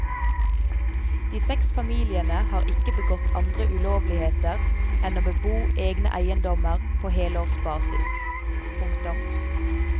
De seks familiene har ikke begått andre ulovligheter enn å bebo egne eiendommer på helårsbasis. punktum